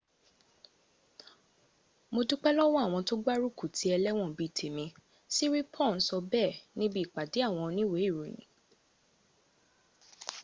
mo dúpé lọ́wọ́ àwọn tó gbárùkù ti ẹlẹ́wọ̀n bíi tèmi siriporn sọ bẹ́ẹ̀ níbi ìpadé àwọn oníwèé ìròyìn